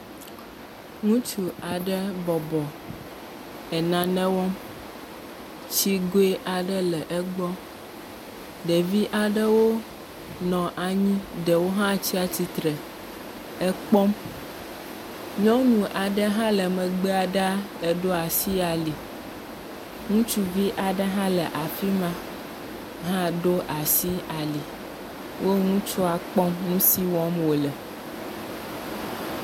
Ŋutsu aɖe bɔbɔ le nane wɔm. Tsigɔe aɖe le égbɔ. Ɖevi aɖe nɔ anyi, ɖe wo hã tsi atsitre ekpɔm. Nyɔnu aɖe hã le megbe ɖaa eɖoa asi ali. ŋutsuvi aɖe hã le afima hã ɖo asi ali. Wo ŋutsua kpɔm nusi wɔm wole.